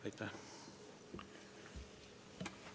Aitäh!